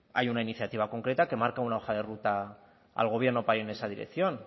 hay una iniciativa concreta que marca una hoja de ruta al gobierno para ir en esa dirección